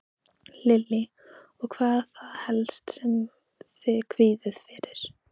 Lillý: Og hvað er það helst sem þið kvíðið fyrir?